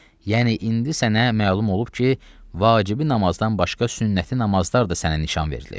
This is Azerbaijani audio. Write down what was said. Yəni indi sənə məlum olub ki, vacibi namazdan başqa sünnəti namazlar da sənə nişan verilib.